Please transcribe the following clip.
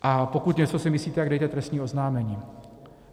A pokud si něco myslíte, tak dejte trestní oznámení.